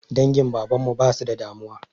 Dangin baban mu ba su da damuwa.